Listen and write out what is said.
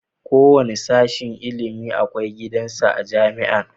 Kowanne sashen ilimin akwai gidan sa a jamia